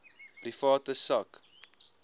private sak